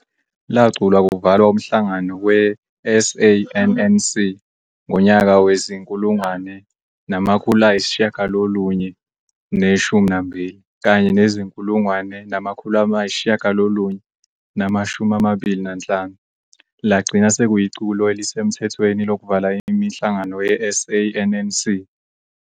Laculwa kuvalwa umhlangano we"-SANNC" ngonyaka wezi-1912 kanye nezi-1925, lagcina sekuyiculo elisemthethweni lokuvala imihlangano ye-"SANNC".